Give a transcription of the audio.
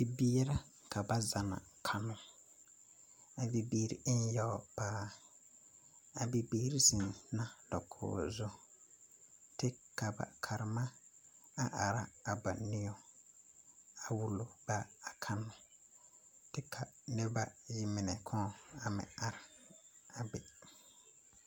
Bibiiri la ka ba zanna kannoo a bibiiri e ne yaga paa a bibiiri zenna dakogro zu kyɛ kaa ba karema a are ba niŋe a wulo ba a kannoo kyɛ ka noba ayi mine kaŋ meŋ are a be